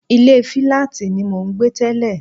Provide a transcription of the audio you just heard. Ilé fíláàtì ni mò ń gbé tẹ́lẹ̀